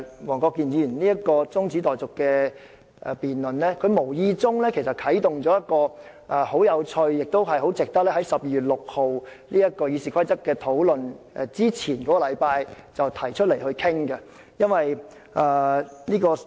黃國健議員這次動議中止待續議案，無意中帶出一個十分有趣的問題，很值得在12月6日討論修訂《議事規則》之前，提早一星期討論。